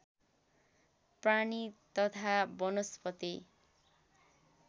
प्राणी तथा वनस्पति